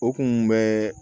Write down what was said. O kun bɛɛ